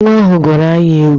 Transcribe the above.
Nwa ahụ gụrụ anyị egwu!